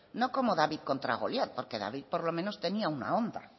no como david contra goliat porque david por lo menos tenía una honda